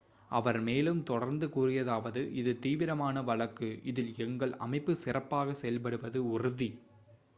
"அவர் மேலும் தொடர்ந்து கூறியதாவது," இது தீவிரமான வழக்கு. இதில் எங்கள் அமைப்பு சிறப்பாக செயல்படுவது உறுதி"".